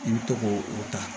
I bɛ to k'o o ta